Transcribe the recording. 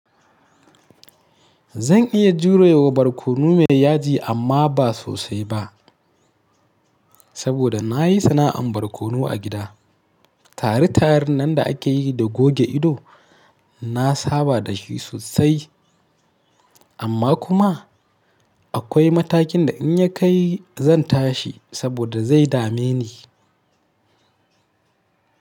Zan iya jure wa barkono mai yaji amma ba sosai ba, saboda na yi sana'an barkono a gida. Tari tarin nan da ake yi da goge ido na saba da shi sosai. Amma kuma akwai matakin da in ya kai zan tashi saboda zai dame ni.